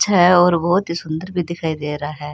छे और बहोत ही सूंदर भी दिखाई दे रहा है।